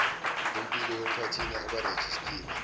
lempilo yphathini abarejistiwe